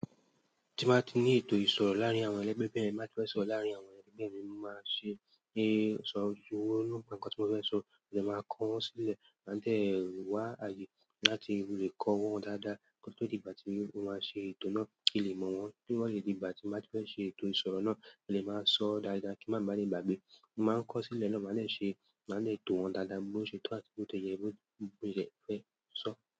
Tí báa ti ní ètò ìsọ̀rọ̀ láàárín àwọn ẹlẹgbẹ́ mi, báa ti fẹ́ sọ̀rọ̀ láàárín àwọn ẹlẹgbẹ́ mi, mo máa ṣe é sọ ojú wọnú bá nǹkan tí mo fẹ́ sọ, mo lè máa kọ wọ́n sílẹ̀, máa dẹ ìwà ààyè láti lè kọ wọ́n dáadáa. Ko tó di ìgbà tí ó máa ṣe ètò náà kí lè mọ̀ wọ́n. Bí ó lè di ìgbà tí máa ti fẹ́ ṣe ètò ìsọ̀rọ̀ náà, lè máa sọ dáadáa kí wọ́n má ba à le gbàgbé. Mo máa ń kọ sílẹ̀ náà, màá lè ṣe, màá lè tò wọ́n dáadáa bó tí ó ṣe tó àti bó tí ó ṣe yẹ bó ti lè fẹ́ sọ.